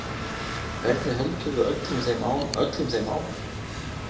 Hvernig höldum við öllum þeim ánægðum?